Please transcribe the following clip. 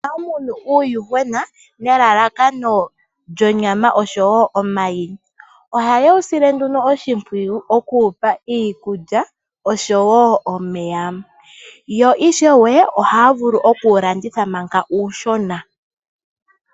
Aanafalama oha ya munu uuyuhwena nelalakano lyonyama osho woo omayi. OOha ye wu sile nduno oshimpwiyu: oku wupa iikulya osho woo omeya, yo ishewe oha ya vulu oku wu landitha mpanga uushona.